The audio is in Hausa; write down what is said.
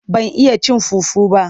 Ban iya cin fufu ba,